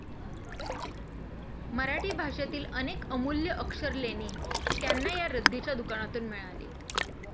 मराठी भाषेतील अनेक अमूल्य अक्षरलेणी त्यांना या रद्दीच्या दुकानांतून मिळाली.